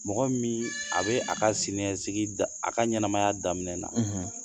Mɔgɔ min a bɛ a ka siniɲɛsigi da a ka ɲɛnamaya daminɛ na